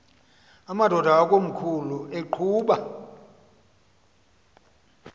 amadod akomkhul eqhub